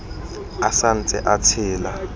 a sa ntse a tshela